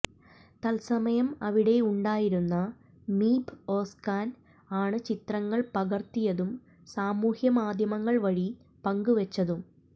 തത്സമയം അവിടെ ഉണ്ടായിരുന്ന മീബ് ഓസ്കാൻ ആണ് ചിത്രങ്ങൾ പകർത്തിയതും സാമൂഹ്യ മാധ്യമങ്ങൾ വഴി പങ്ക് വച്ചതും